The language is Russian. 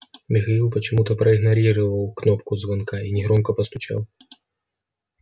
михаил почему-то проигнорировал кнопку звонка и негромко постучал